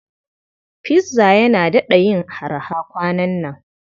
Pizza yana daɗa yin araha kwanan nan.